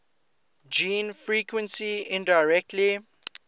gene frequency indirectly